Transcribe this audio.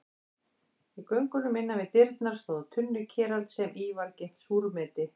Í göngunum innan við dyrnar stóð tunnukerald sem í var geymt súrmeti.